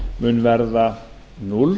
mun verða núll